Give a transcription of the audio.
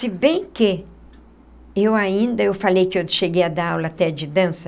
Se bem que, eu ainda, eu falei que eu cheguei a dar aula até de dança,